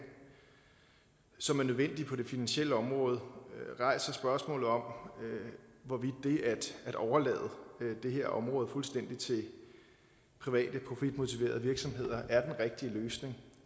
som er nødvendig på det finansielle område rejser spørgsmålet om hvorvidt det at overlade det her område fuldstændig til private på frit motiverede virksomheder er den rigtige løsning